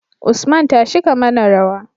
Usman tashi ka mana rawa